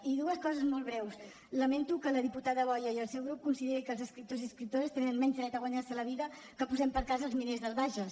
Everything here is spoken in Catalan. i dues coses molt breus lamento que la diputada boya i el seu grup consideri que els escriptors i escriptores tenen menys dret a guanyar se la vida que posem per cas els miners del bages